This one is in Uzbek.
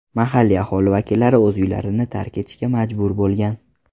Mahalliy aholi vakillari o‘z uylarini tark etishga majbur bo‘lgan.